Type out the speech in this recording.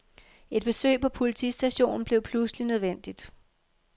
Et besøg på politistationen blev pludseligt nødvendigt.